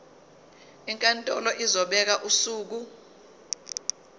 inkantolo izobeka usuku